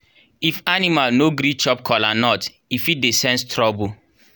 if animal no gree chop kola nut e fit dey sense trouble.